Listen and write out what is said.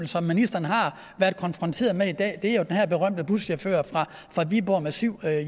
som ministeren har været konfronteret med i dag er jo den her berømte buschauffører fra viborg med syv